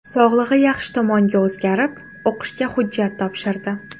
Sog‘lig‘i yaxshi tomonga o‘zgarib, o‘qishga hujjat topshirdi.